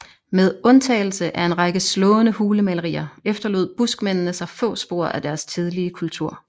Med undtagelse af en række slående hulemalerier efterlod buskmændene sig få spor af deres tidlige kultur